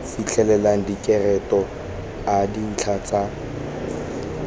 fitlhelela direkoto a dintlha tsa